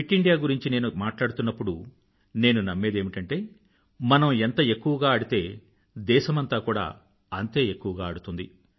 fit India గురించి నేను మాట్లాడుతున్నప్పుడు నేను నమ్మేదేమిటంటే మనం ఎంత ఎక్కువగా ఆడితే దేశమంతా కూడా అంతే ఎక్కువగా ఆడుతుంది